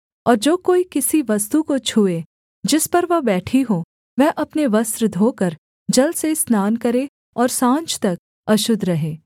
और जो कोई किसी वस्तु को छूए जिस पर वह बैठी हो वह अपने वस्त्र धोकर जल से स्नान करे और साँझ तक अशुद्ध रहे